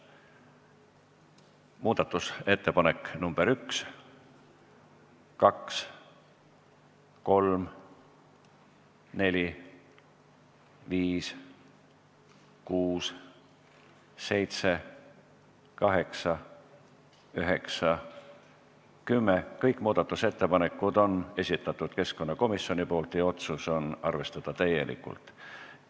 Muudatusettepanek nr 1, 2, 3, 4, 5, 6, 7, 8, 9, 10 – kõik need muudatusettepanekud on esitanud keskkonnakomisjon ja otsus on arvestada täielikult.